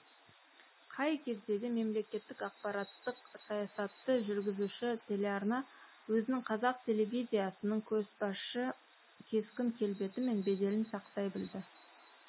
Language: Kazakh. қай кезде де мемлекеттік ақпараттық саясатты жүргізуші телеарна өзінің қазақ телевизиясының көшбасшы кескін келбеті мен беделін сақтай білді